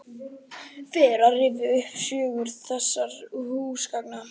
Fer að rifja upp sögu þessara húsgagna.